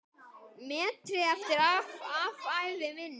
metri eftir af ævi minni.